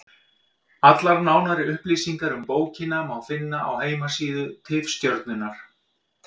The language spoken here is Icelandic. Allar nánari upplýsingar um bókina má finna á heimasíðu Tifstjörnunnar.